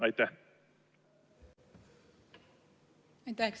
Aitäh!